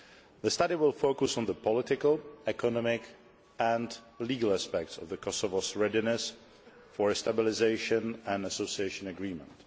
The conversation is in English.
The study will focus on the political, economic and legal aspects of Kosovo's readiness for a Stabilisation and Association Agreement.